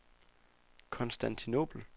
Konstantinobel